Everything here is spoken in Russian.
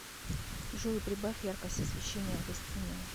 джой прибавь яркость освещения в гостиной